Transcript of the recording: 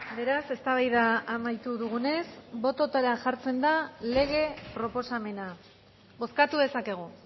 beraz eztabaida amaitu dugunez bototara jartzen da lege proposamena bozkatu dezakegu